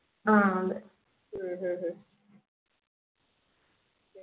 ആഹ് അതെ